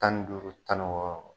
Tan duuru tan wɔɔrɔ